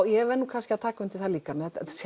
ég verð kannski að taka undir það líka